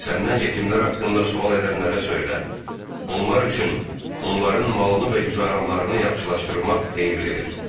Səndən yetimlər haqqında sual edənlərə söylə: Onlar üçün onların malını və güzəranlarını yaxşılaşdırmaq xeyirlidir.